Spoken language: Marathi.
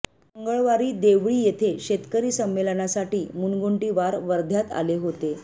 मंगळवारी देवळी येथे शेतकरी संमेलनासाठी मुनगंटीवार वर्ध्यात आले होते